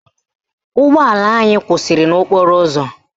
Ụgbọala anyị kwụsịrị n'okporo ụzọ